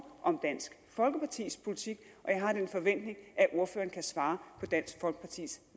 om dansk folkepartis politik og jeg har den forventning at ordføreren kan svare på dansk folkepartis